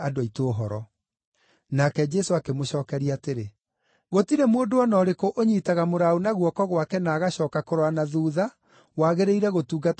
Nake Jesũ akĩmũcookeria atĩrĩ, “Gũtirĩ mũndũ o na ũrĩkũ ũnyiitaga mũraũ na guoko gwake na agacooka kũrora na thuutha wagĩrĩire gũtungata ũthamaki-inĩ wa Ngai.”